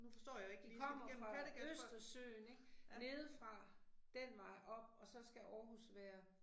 De kommer fra Østersøen ik, nedefra, den vej op, og så skal Aarhus være